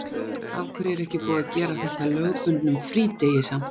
Af hverju er ekki búið að gera þetta að lögbundnum frídegi samt?